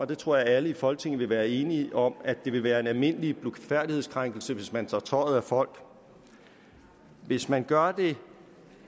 det tror jeg alle i folketing vil være enige om at det vil være en almindelig blufærdighedskrænkelse hvis man tager tøjet af folk hvis man gør det